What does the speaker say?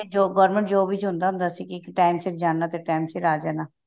government job ਵਿੱਚ ਹੁੰਦਾ ਸੀ ਕੇ time ਸਿਰ ਜਾਣਾ ਤੇ time sir ਆ ਜਾਣਾ